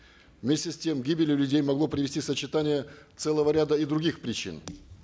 вместе с тем к гибели людей могло привести сочетание целого ряда и других причин